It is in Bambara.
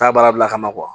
Taa baara bila ka na